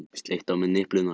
Í sparifötunum eins og api.